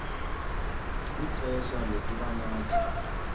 ixfsha lokuba nathi